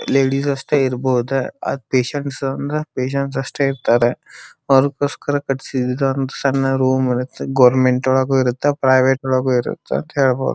ಇಲ್ಲಿ ಈಗಷ್ಟೇ ಇರಬಹುದು ಅತ್ತೆ ಸಂಸ್ ಅಂದ್ರೆ ಬೇಜಾನ್ ದಷ್ಟೇ ಇರ್ತಾರ ಅದಕ್ಕೋಸ್ಕರ ಕಟ್ಟಿಸಿದ್ ಗವರ್ನಮೆಂಟ್ ಒಳಗು ಇರತ್ತ ಪ್ರೈವೇಟ್ ಒಳಗು ಇರತ್ತ ಅಂತ ಹೇಳ್ಬಹುದು.